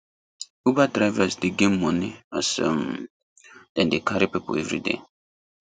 uber drivers dey get money as um them dey carry people everyday